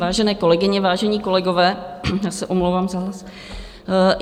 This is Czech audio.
Vážené kolegyně, vážení kolegové, já se omlouvám za hlas.